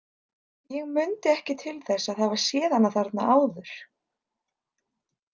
Ég mundi ekki til þess að hafa séð hana þarna áður.